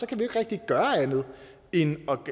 kan vi ikke rigtig gøre andet end at